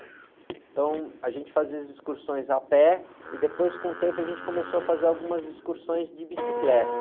Então, a gente fazia as excursões a pé e depois, com o tempo, a gente começou a fazer algumas excursões de bicicleta.